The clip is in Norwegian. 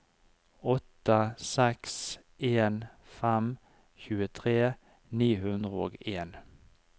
åtte seks en fem tjuetre ni hundre og en